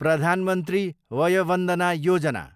Pradhan Mantri Vaya Vandana Yojana